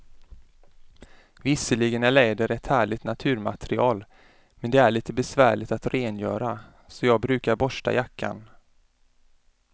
Visserligen är läder ett härligt naturmaterial, men det är lite besvärligt att rengöra, så jag brukar borsta jackan.